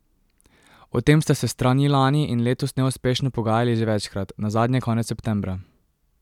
O tem sta se strani lani in letos neuspešno pogajali že večkrat, nazadnje konec septembra.